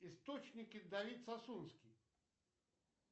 источники давид сасунский